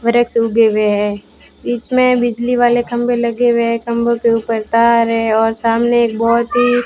वृक्ष उगे हुए हैं बीच में बिजली वाले खंभे लगे हुए हैं खंभों के ऊपर तार है और सामने एक बहुत ही --